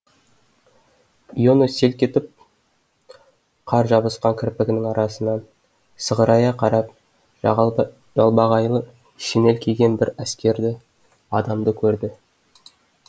иона селк етіп қар жабысқан кірпігінің арасынан сығырая қарап жалбағайлы шинель киген бір әскерді адамды көрді